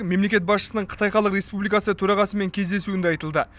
мемлекет басшысының қытай халық республикасы төрағасымен кездесуінде айтылды